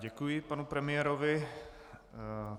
Děkuji panu premiérovi.